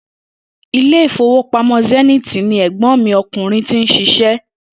Ilé ìfowópamó̩ Zenith ni è̩gbó̩n mi o̩kùnrin ti ń s̩is̩é̩